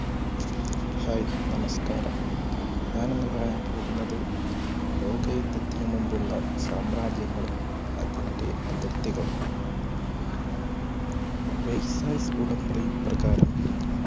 hi, നമസ്കാരം. ഞാൻ ഇന്ന് പറയാൻ പോകുന്നത് ലോക യുദ്ധത്തിന് മുമ്പുള്ള സാമ്രാജ്യങ്ങളും അതിൻറെ അതിർത്തികളും. vezhsai ഉടമ്പടി പ്രകാരം